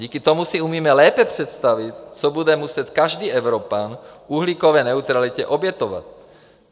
Díky tomu si umíme lépe představit, co bude muset každý Evropan uhlíkové neutralitě obětovat.